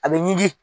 A bɛ ɲigi